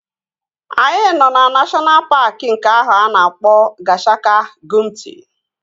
Anyị nọ na neshọna paaki nke ahụ a na-akpọ Gashaka-Gumti